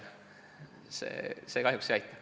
See kahjuks ei aita.